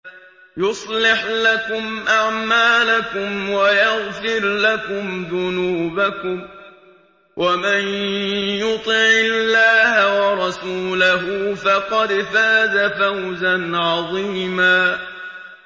يُصْلِحْ لَكُمْ أَعْمَالَكُمْ وَيَغْفِرْ لَكُمْ ذُنُوبَكُمْ ۗ وَمَن يُطِعِ اللَّهَ وَرَسُولَهُ فَقَدْ فَازَ فَوْزًا عَظِيمًا